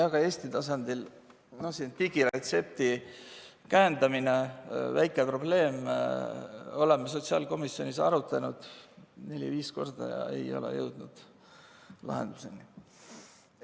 Ka Eesti tasandil: digiretsepti käendamine, väike probleem, oleme sotsiaalkomisjonis arutanud neli-viis korda ega ole jõudnud lahenduseni.